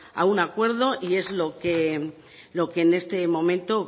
a un acuerdo y es lo que en este momento